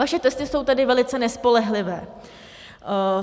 Vaše testy jsou tedy velice nespolehlivé.